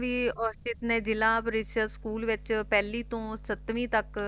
ਵੀ ਔਰਚਿਤ ਨੇ ਜਿਲ੍ਹਾ school ਵਿਚ ਪਹਿਲੀ ਤੋਂ ਸੱਤਵੀ ਤੱਕ